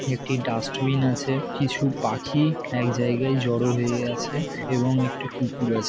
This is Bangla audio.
একটা ডাস্টবিন আছে কিছু পাখি-ই এক জায়গায় জড়ো হয়ে আছে এবং একটি কুকুর আছে ।